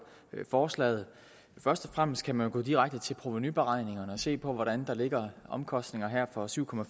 forslaget først og fremmest kan man jo gå direkte til provenuberegningerne og se hvordan der her ligger omkostninger for syv